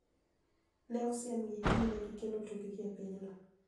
Ne osiemgi ni ne gikelo tungni e pinyno.